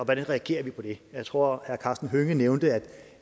reagerer på det jeg tror herre karsten hønge nævnte at